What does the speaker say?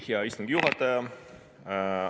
Hea istungi juhataja!